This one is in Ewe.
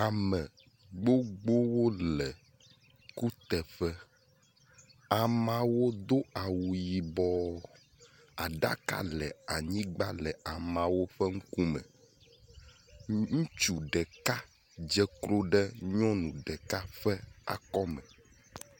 Ame gbogbowo le kuteƒe, ameawo do awu yibɔ. Aɖaka le anyigba le ameawo ƒe ŋkume. Ŋutsu ɖeka dze klo ɖe nyɔnu ɖeka ƒe akɔme.